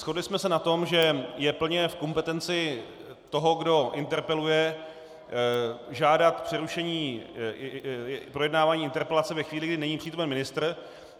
Shodli jsme se na tom, že je plně v kompetenci toho, kdo interpeluje, žádat přerušení projednávání interpelace ve chvíli, kdy není přítomen ministr.